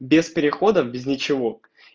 без переходов без ничего